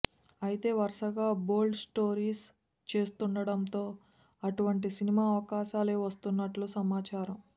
అయితే వరుసగా bold stories చేస్తుండడంతో అటువంటి సినిమా అవకాశాలే వస్తున్నట్లు సమాచారం